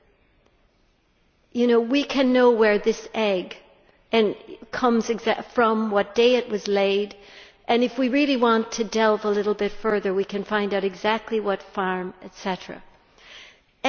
We can know exactly where this egg comes from, what day it was laid and if we really want to delve a little bit further we can find out exactly what farm and so on.